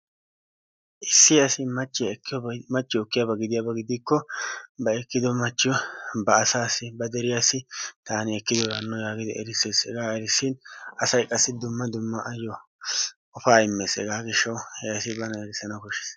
Issi asi machchiyoo ekkiyoobay machchiyoo ekkiyooba gidikko ba ekkido machchiyoo ba asaasi ba deriyaasi taani ekkidoora haano yaagidi erissees. Hegaa erissin asay qassi dumma dumma ayoo qofaa immees. Hegaa he asi bana erissana kooshshees.